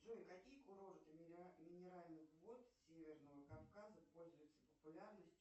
джой какие курорты минеральных вод северного кавказа пользуются популярностью